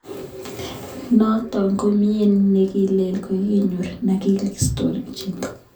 Notok ko mioni ne kilen ka kinyor, ma ne kikisiktoi chito.